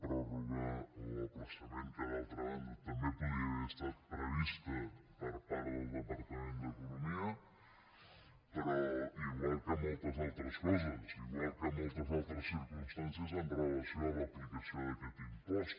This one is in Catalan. pròrroga o ajornament que d’altra banda també podia haver estat previst per part del departament d’economia però igual que moltes altres coses igual que moltes altres circumstàncies amb relació a l’aplicació d’aquest impost